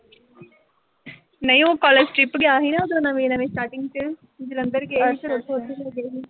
ਨਈਂ ਉਹ college trip ਗਿਆ ਸੀ ਨਾ, ਉਦੋਂ ਨਵੇਂ-ਨਵੇਂ starting ਚ। ਜਲੰਧਰ ਗਏ ਸੀ ਫਿਰ ਉਥੋਂ ਉਧਰ ਨੂੰ ਗਏ ਸੀ।